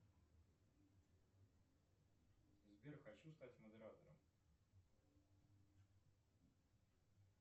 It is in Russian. сбер хочу стать модератором